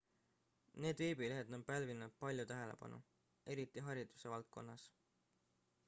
need veebilehed on pälvinud palju tähelepanu eriti hariduse valdkonnas